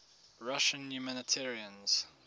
russian humanitarians